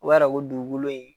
O b'a yira ko dugukolo in